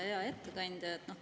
Hea ettekandja!